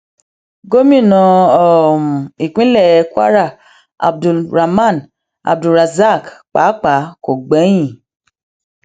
gomina um ìpínlẹ kwara abdul raman abdulrasaq pàápàá kò gbẹyìn